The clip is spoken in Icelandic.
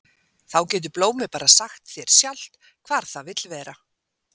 Þá getur blómið bara sagt þér sjálft hvar það vill vera.